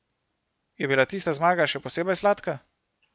Je bila tista zmaga še posebej sladka?